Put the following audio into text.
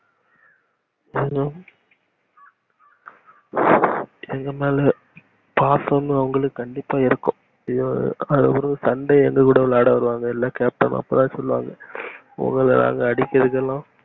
hallo எங்க மேல பாசம்னு கண்டிப்பா இருக்கும் sunday எங்ககூட விளையாட வருவாரு இல்ல captain அப்பத்தா சொல்லுவாரு உங்கள நாங்க அடிக்கறது எல்லா